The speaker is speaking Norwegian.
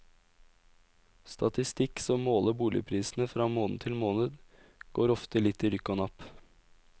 Statistikk som måler boligprisene fra måned til måned, går ofte litt i rykk og napp.